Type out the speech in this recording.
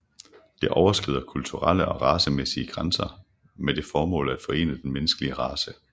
Det overskrider kulturelle og racemæssige grænser med det formål at forene den menneskelige race